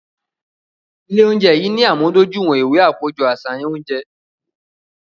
Ile ounjẹ yii ni amudojuiwọn iwe akojọ aṣayan ounjẹ